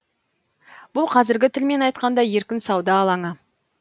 бұл қазіргі тілмен айтқанда еркін сауда алаңы